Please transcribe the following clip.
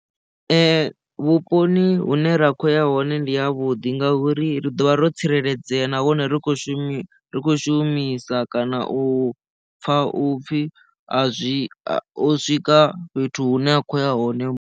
Vhuponi hune ra kho ya hone ndi a vhuḓi ngauri ri ḓo vha ro tsireledzea nahone ri kho shumisa ri kho shumisa kana u pfha u pfhi a zwi o swika fhethu hune a khou ya hone.